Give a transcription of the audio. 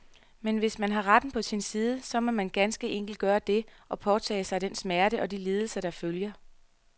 Men hvis man har retten på sin side, så må man ganske enkelt gøre det, og påtage sig den smerte og de lidelser, der følger.